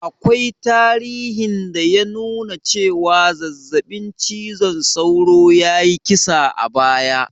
Akwai tarihin da ya nuna cewa zazzaɓin cizon sauro ya yi kisa a baya